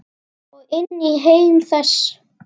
Og inn í heim þess.